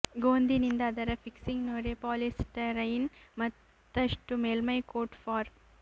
ಗೋಂದಿನಿಂದ ಅದರ ಫಿಕ್ಸಿಂಗ್ ನೊರೆ ಪಾಲಿಸ್ಟೈರೀನ್ ಮತ್ತಷ್ಟು ಮೇಲ್ಮೈ ಕೋಟ್ ಫಾರ್